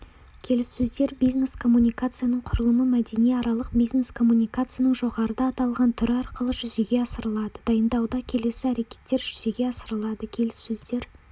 келіссөздер бизнес коммуникацияның құрылымы мәдениаралық бизнес коммуникацияның жоғарыда аталған түрі арқылы жүзеге асырылады дайындауда келесі әрекеттер жүзеге асырылады келіссөздер